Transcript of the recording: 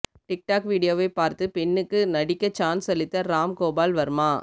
tic tac வீடியோவை பார்த்து பெண்ணுக்கு நடிக்க சான்ஸ் அளித்த ராம்கோபால் வர்மா